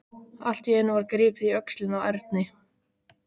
Allt í einu var gripið í öxlina á Erni.